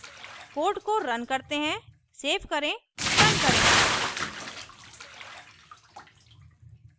code को run करते हैं सेव करें रन करें